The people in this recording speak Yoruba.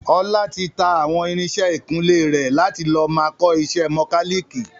Ọlá tí tá àwọn irinsẹ́ ìkunlé rẹ̀ láti lọ máa kọ ìṣe mọ́káliikì